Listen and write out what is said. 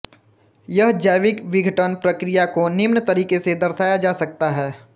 यह जैविक बिघटन प्रक्रिया को निम्न तरीके से दर्शाया जा सकता है